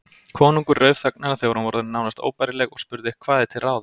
Konungur rauf þögnina þegar hún var orðin nánast óbærileg og spurði:-Hvað er til ráða?